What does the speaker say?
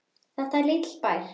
Þetta er lítill bær.